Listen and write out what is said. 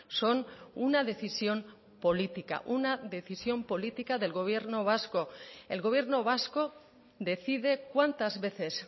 son una decisión política una decisión política del gobierno vasco el gobierno vasco decide cuántas veces